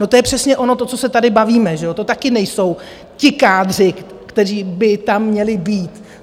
No, to je přesně ono, to, co se tady bavíme, to taky nejsou ti kádři, kteří by tam měli být.